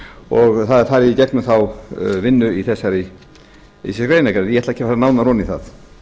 og er það farið í gegnum þá vinnu í þessari greinargerð ég ætla ekki að fara nánar ofan í það